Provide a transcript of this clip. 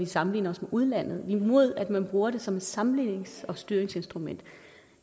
sammenligner os med udlandet vi er imod at man bruger det som et sammenlignings og styringsinstrument